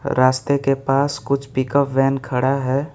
रास्ते के पास कुछ पिकअप वैन खड़ा है।